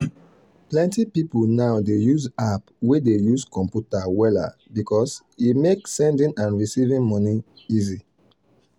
plenty people now dey use app way dey use computer wella because e make sending and receiving money easy.